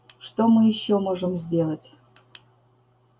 что мы ещё можем сделать